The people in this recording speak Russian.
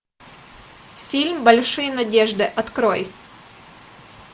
фильм большие надежды открой